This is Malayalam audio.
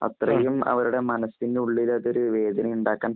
അത്രയും അവരുടെ മനസിനുള്ളില് ഒരു വേദനയുണ്ടാക്കാന്‍